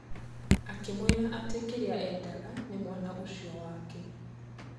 Akĩmwĩra atĩ kĩrĩaendanga nĩ mwana ũcio wake.